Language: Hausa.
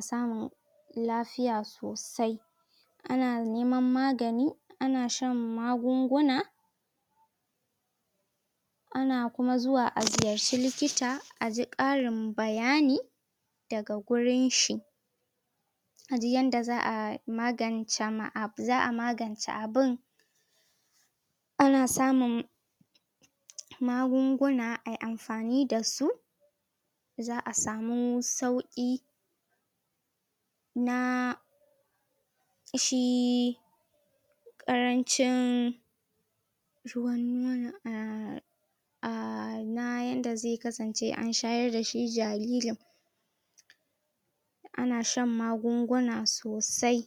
tsarin lafiya a kusa Na biyu, talauci, na uku rashin tallafi daga gwammanti ko ungiyoyi. Na huɗu: Gudanar da aure da iyali a hannun miji kalai. Na biyar: Sana'ar yara, Na Shida, ƙin amincewa da sabbin dabaru.